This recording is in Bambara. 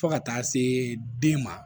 Fo ka taa se den ma